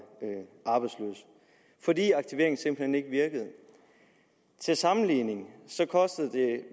arbejdsløse fordi aktiveringen simpelt hen ikke virkede til sammenligning kostede det